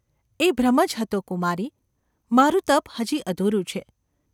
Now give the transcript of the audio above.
‘એ ભ્રમ જ હતો, કુમારી ! મારું ત૫ હજી અધૂરું છે.